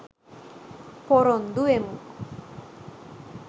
පොරොන්දු වෙමු.